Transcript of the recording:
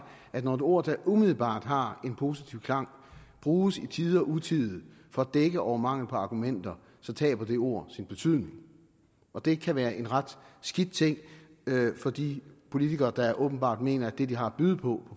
at når et ord der umiddelbart har en positiv klang bruges i tide og utide for at dække over mangel på argumenter så taber det ord sin betydning og det kan være en ret skidt ting for de politikere der åbenbart mener at det de har at byde på